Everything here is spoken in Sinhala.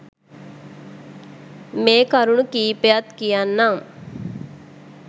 මේ කරුණු කීපයත් කියන්නම්.